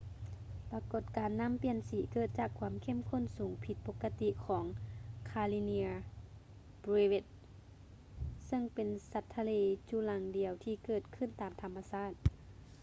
ປາກົດການນ້ຳປ່ຽນສີເກີດຈາກຄວາມເຂັ້ມຂຸ້ນສູງຜິດປົກກະຕິຂອງ ຄາຮິເນຍ ເບຼວິດສ໌ karenia brevis ຊຶ່ງເປັນສັດທະເລຈຸລັງດ່ຽວທີ່ເກີດຂຶ້ນຕາມທຳມະຊາດ